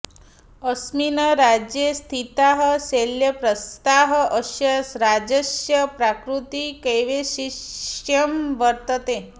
अस्मिन् राज्ये स्थिताः शैलप्रस्थाः अस्य राज्यस्य प्राकृतिकवैशिष्ट्यं वर्तते